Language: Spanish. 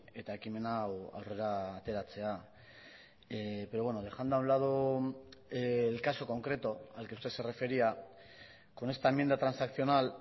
eta ekimen hau aurrera ateratzea pero bueno dejando a un lado el caso concreto al que usted se refería con esta enmienda transaccional